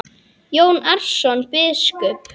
Jón Arason biskup